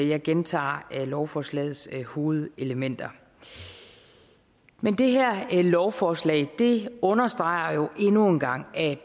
jeg gentager lovforslagets hovedelementer men det her lovforslag understreger jo endnu en gang at